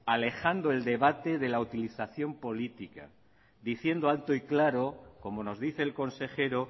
alejando el debate de la utilización política diciendo alto y claro como nos dice el consejero